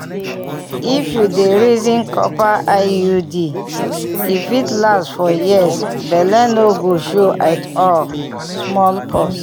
if you dey reason copper iud e fit last for years belle no go show at all small pause